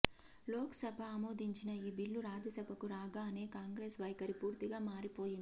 లోకసభ ఆమోదించిన ఈ బిల్లు రాజ్యసభకు రాగానే కాంగ్రెస్ వైఖరి పూర్తిగా మారిపోయింది